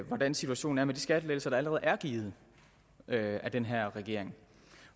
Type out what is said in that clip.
hvordan situationen er med de skattelettelser der allerede er givet af den her regering